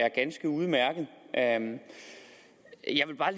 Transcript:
er ganske udmærket jeg vil bare